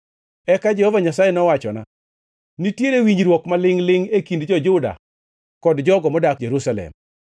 Eka Jehova Nyasaye nowachona, “Nitiere winjruok ma lingʼ-lingʼ e kind jo-Juda kod jogo modak Jerusalem.